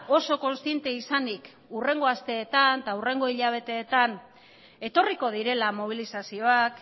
oso kontziente izanik hurrengo asteetan eta hurrengo hilabeteetan etorriko direla mobilizazioak